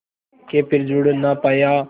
के फिर जुड़ ना पाया